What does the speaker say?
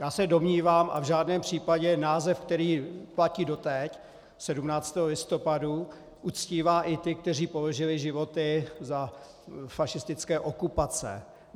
Já se domnívám, a v žádném případě název, který platí doteď, 17. listopadu, uctívá i ty, kteří položili životy i za fašistické okupace.